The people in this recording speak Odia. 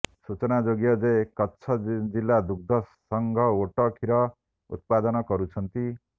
ସୂଚନାଯୋଗ୍ୟ ଯେ କଚ୍ଛ ଜିଲା ଦୁଗ୍ଧ ସଂଘ ଓଟ କ୍ଷୀର ଉତ୍ପାଦନ କରୁଛନ୍ତି